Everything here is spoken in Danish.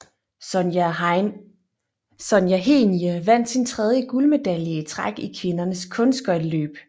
Sonja Henie vandt sin tredje guldmedalje i træk i kvindernes kunstskøjteløb